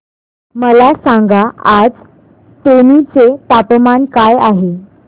मला सांगा आज तेनी चे तापमान काय आहे